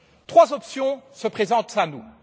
Trois options se présentent à nous.